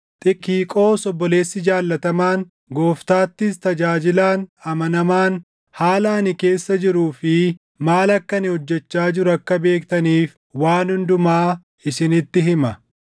Xikiqoos obboleessi jaallatamaan, Gooftaattis tajaajilaan amanamaan haala ani keessa jiruu fi maal akka ani hojjechaa jiru akka beektaniif waan hundumaa isinitti hima.